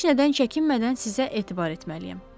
Heç nədən çəkinmədən sizə etibar etməliyəm.